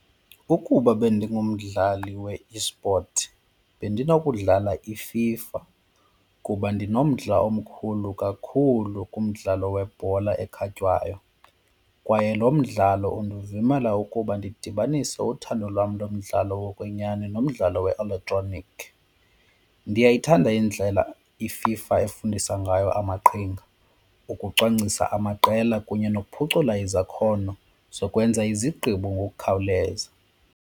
Ukuba bendingumdlali we-esport bendinokudlala iFIFA kuba ndinomdla omkhulu kakhulu kumdlalo webhola ekhatywayo kwaye lo mdlalo undivumela ukuba ndidibanise uthando lwam lomdlalo wokwenyani nomdlalo we-elektroniki. Ndiyayithanda indlela iFIFA efundisa ngayo amaqembu ukucwangcisa amaqela kunye nokuphucula izakhono zokwenza izigqibo ngokukhawuleza.